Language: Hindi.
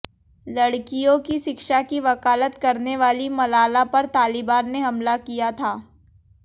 लड़कियों की शिक्षा की वकालत करने वाली मलाला पर तालिबान ने हमला किया था